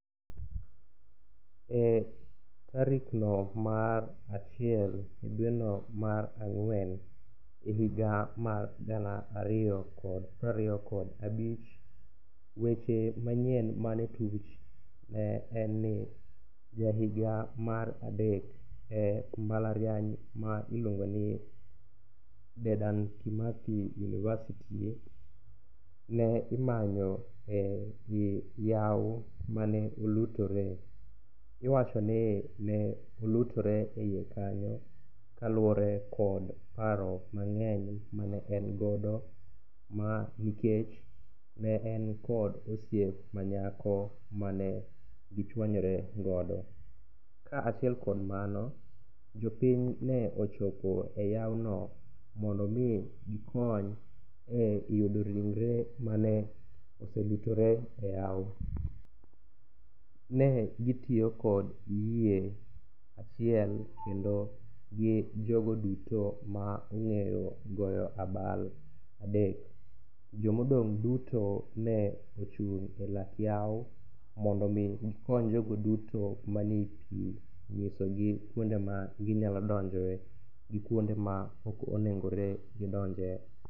Tarikno mar achiel dweno mar ang'wen, higa mar gana ariyo kod prariyo kod abich, weche manyien manotuch en ni ja higa mar adek e mbalariany ma iluongoni Dedan Kimathi university ne imanyo e yawo mane olutore. iwachoni ne olutore e iye kanyo kaluwore kod paro mang'eny mane en godo ,ma nikech ne en kod osiep manyako mane gichwanyore godo. ka achiel kod mano, jopiny ne ochopo e yawono mondo omi gikony e yudo ringre mane oselutore e yawo. Ne gitiyo kod yie achile kendo gi jogo duto ma ong'eyo goyo abal adek, jomodong' duto ne ochung' e lak yawo mondo omi gikony jogo duto mani pi ng'isogi kwonde ma ginyalo donjoe gi kwonde ma ok onegore gidonje.